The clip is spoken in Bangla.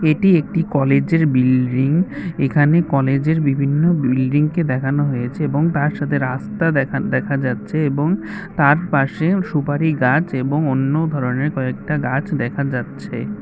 এটি একটি কলেজ এর বিলড্রিং এখানে কলেজ এর বিভিন্ন বিলড্রিং কে দেখানো হয়েছে এবং তার সাথে রাস্তা দেখা দেখা যাচ্ছে এবং তার পাশে সুপারি গাছ এবং অন্য ধরনের কয়েকটা গাছ দেখা যাচ্ছে।